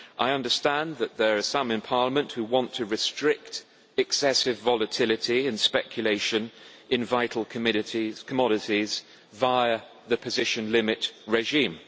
I understand that there are some in Parliament who want to restrict excessive volatility and speculation in vital commodities via the position limit regime.